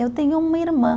Eu tenho uma irmã.